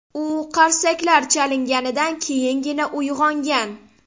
U qarsaklar chalinganidan keyingina uyg‘ongan.